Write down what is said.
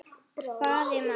hváði mamma.